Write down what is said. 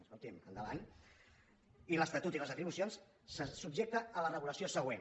escolti’m endavant l’estatut i les atribucions se subjecta a la regulació següent